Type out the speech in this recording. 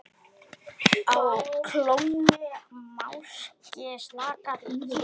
Á klónni máski slaka hér.